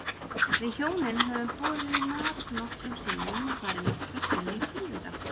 Við hjónin höfum boðið þeim í mat nokkrum sinnum og farið nokkrum sinnum til þeirra.